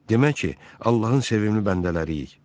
Demək ki, Allahın sevimli bəndələriyik.